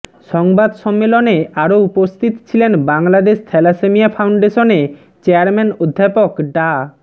সংবাদ সম্মেলনে আরও উপস্থিত ছিলেন বাংলাদেশ থ্যালাসেমিয়া ফাউন্ডেশনে চেয়ারম্যান অধ্যাপক ডা